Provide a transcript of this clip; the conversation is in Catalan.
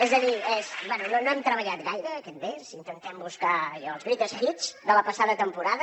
és a dir bé no hem treballat gaire aquest mes i intentem buscar allò els greatest hits de la passada temporada